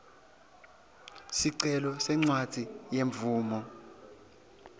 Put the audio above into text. sicelo sencwadzi yemvumo